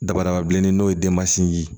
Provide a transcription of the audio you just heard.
Dabadaba bilennin n'o ye denmasinin ye